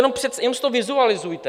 Jen si to vizualizujte.